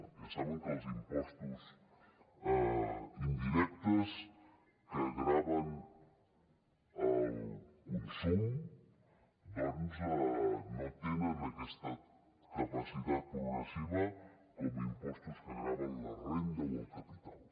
ja saben que els impostos indirectes que graven el consum doncs no tenen aquesta capacitat progressiva com els impostos que graven la renda o el capital